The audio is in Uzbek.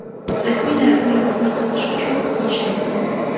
Rasmiylar ularni tarqatish uchun kuch ishlatgan.